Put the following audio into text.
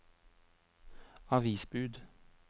avisbud